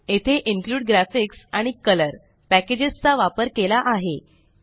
येथे include graphics आणि colour packages चा वापर केला आहे